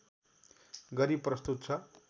गरी प्रस्तुत छ